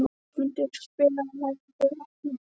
Ásmundur, spilaðu lagið „Við vatnið“.